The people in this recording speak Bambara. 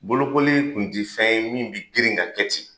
Bolokoli kun te fɛn ye min bi girin ka kɛ ten